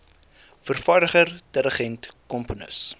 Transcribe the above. vervaardiger dirigent komponis